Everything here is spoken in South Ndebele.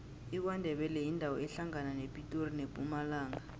ikwandebele yindawo ehlangana nepitori nempumalanga